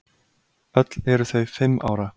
Öll eru þau fimm ára.